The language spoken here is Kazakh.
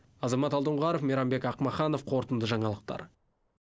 азамат алдоңғаров мейрамбек ақмаханов қорытынды жаңалықтар